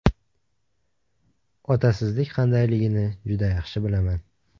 Otasizlik qandayligini juda yaxshi bilaman.